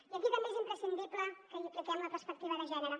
i aquí també és imprescindible que hi apliquem la perspectiva de gènere